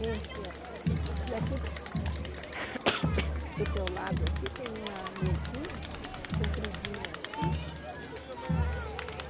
Enche, ó. E aqui, do teu lado aqui, tem uma mesinha, compridinha assim.